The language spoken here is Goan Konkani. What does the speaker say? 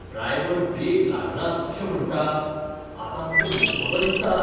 ड्रायवर ब्रेक लागनात अशें म्हणटा. आतां आमकां मोखतलो दिसता.